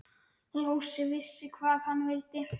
Lási vissi hvað hann vildi.